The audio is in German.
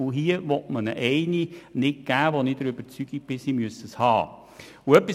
Hier will man ihnen eine Kompetenz nicht geben, die sie nach meiner Überzeugung haben müssen.